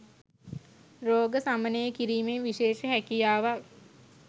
රෝග සමනය කිරීමේ විශේෂ හැකියාවක්